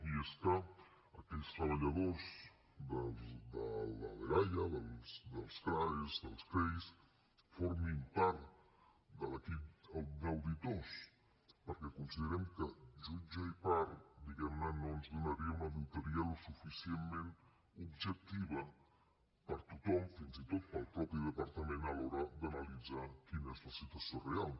i és que aquells treballadors de la dgaia dels crae dels crei formin part de l’equip d’auditors perquè considerem que jutge i part diguem ne no ens donaria una auditoria suficientment objectiva per tothom fins i tot pel mateix departament a l’hora d’analitzar quina és la situació real